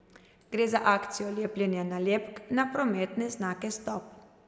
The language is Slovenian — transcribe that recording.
Gre za akcijo lepljenja nalepk na prometne znake stop.